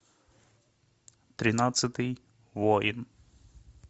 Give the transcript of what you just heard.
тринадцатый воин